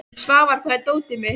Svafar, hvar er dótið mitt?